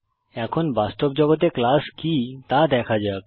এখন বাস্তব জগতে ক্লাস কি তা দেখা যাক